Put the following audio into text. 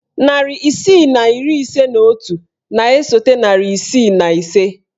Narị isii na iri ise na otu na-esote narị isii na iri ise.